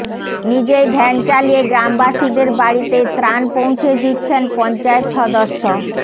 নিজেই ভ্যান চালিয়ে গ্রামবাসীদের বাড়িতে ত্রাণ পৌঁছে দিচ্ছেন পঞ্চায়েত সদস্য